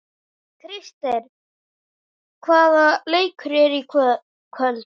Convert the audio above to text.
Krister, hvaða leikir eru í kvöld?